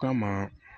Kama